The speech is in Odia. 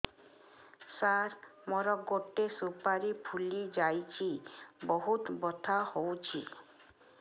ସାର ମୋର ଗୋଟେ ସୁପାରୀ ଫୁଲିଯାଇଛି ବହୁତ ବଥା ହଉଛି